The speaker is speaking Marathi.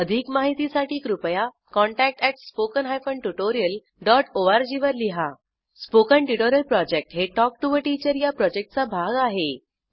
अधिक माहितीसाठी कृपया contact at spoken hyphen tutorial dot org वर लिहा स्पोकन ट्युटोरियल प्रॉजेक्ट हे टॉक टू टीचर या प्रॉजेक्टचा भाग आहे